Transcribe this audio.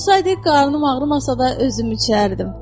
Olsaydı qarnım ağrımasa da özüm içərdim.